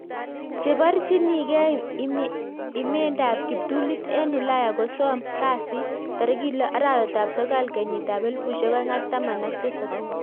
Cheparchini gei imendaap kiptulit eng ulaya kosom kasii tarikit loo arawetap sokol kenyit ab elefusiek oeng ak taman ak tisap